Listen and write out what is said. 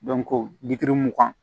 mugan